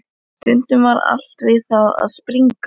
Stundum var allt við það að springa.